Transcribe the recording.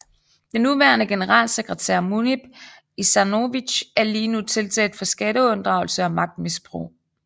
Den nuværende generalsekretær Munib Ušanović er lige nu tiltalt for skatteunddragelse og magtmisbrug